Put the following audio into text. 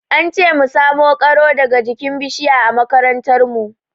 An ce mu samo ƙaro daga jikin bishiya a makarantar mu.